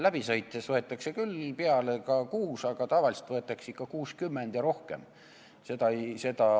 Läbi sõites võetakse küll ehk kaasa kuus, aga tavaliselt võetakse ikka 60 või rohkem.